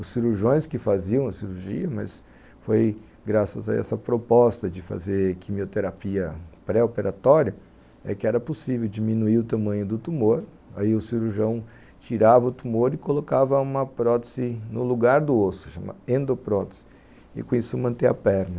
Os cirurgiões que faziam a cirurgia, mas foi graças a essa proposta de fazer quimioterapia pré-operatória, é que era possível diminuir o tamanho do tumor, aí o cirurgião tirava o tumor e colocava uma prótese no lugar do osso, chamada endoprótese, e com isso manter a perna.